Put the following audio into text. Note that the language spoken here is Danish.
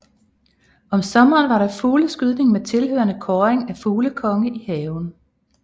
Om sommeren var der fugleskydning med tilhørende kåring af fuglekonge i haven